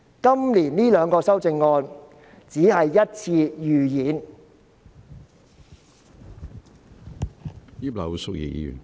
今年這兩項修正案只是一次預演。